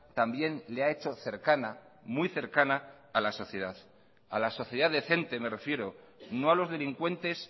también le ha hecho cercana muy cercana a la sociedad a la sociedad decente me refiero no a los delincuentes